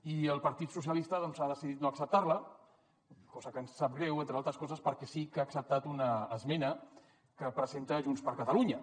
i el partit socialistes ha decidit no acceptar la cosa que ens sap greu entre altres coses perquè sí que ha acceptat una esmena que presenta junts per catalunya